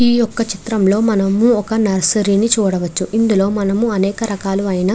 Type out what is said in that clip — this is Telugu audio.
ఈ చిత్రం లో మనము ఒక నర్సెరి ని చూడవచ్చు. ఇందులో మనము అనేక రకాలైన --